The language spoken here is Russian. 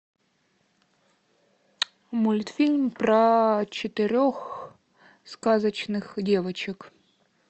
мультфильм про четырех сказочных девочек